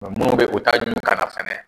munnu bɛ u ta ɲun ka na fɛnɛ.